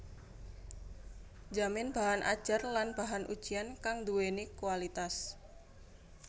njamin bahan ajar lan bahan ujian kang nduwèni kualitas